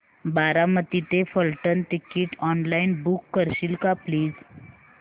बारामती ते Phaltan ticket online book करशील का प्लीज